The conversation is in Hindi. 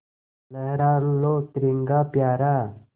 लहरा लो तिरंगा प्यारा